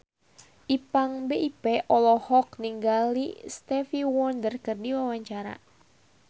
Ipank BIP olohok ningali Stevie Wonder keur diwawancara